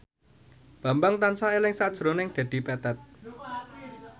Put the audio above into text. Bambang tansah eling sakjroning Dedi Petet